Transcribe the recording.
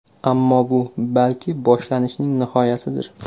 Ammo bu, balki, boshlanishning nihoyasidir.